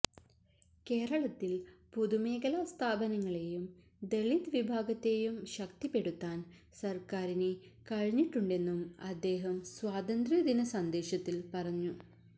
കേരളത്തിൽ പൊതുമേഖലാ സ്ഥാപനങ്ങളെയും ദലിത് വിഭാഗത്തെയും ശക്തിപ്പെടുത്താൻ സർക്കാരിന് കഴിഞ്ഞിട്ടുണ്ടെന്നും അദ്ദേഹം സ്വാതന്ത്ര്യദിന സന്ദേശത്തിൽ പറഞ്ഞു